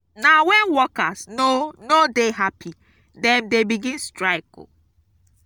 na wen workers no no dey hapi dem dey begin strike.